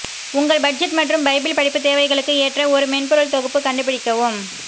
உங்கள் பட்ஜெட் மற்றும் பைபிள் படிப்பு தேவைகளுக்கு ஏற்ற ஒரு மென்பொருள் தொகுப்பு கண்டுபிடிக்கவும்